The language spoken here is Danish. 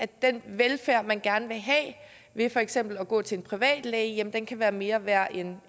den velfærd man gerne vil have ved for eksempel at gå til en privatlæge kan være mere værd end